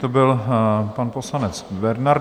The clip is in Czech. To byl pan poslanec Bernard.